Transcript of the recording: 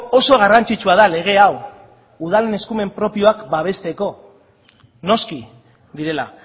oso garrantzitsua da lege hau udalen eskumen propioak babesteko noski direla